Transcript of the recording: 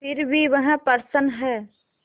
फिर भी वह प्रसन्न है